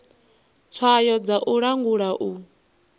tswayo dza u langula u